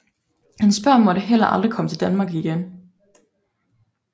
Hans børn måtte heller aldrig komme til Danmark igen